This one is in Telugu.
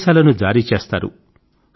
ఆదేశాలను జారీ చేస్తారు